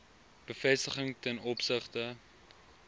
bevestiging ten opsigte